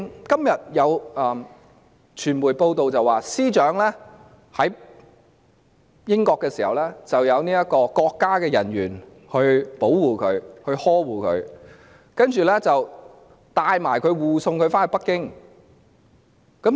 今天有傳媒報道，司長在英國時得到國家人員保護和呵護，其後更把她護送至北京。